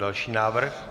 Další návrh.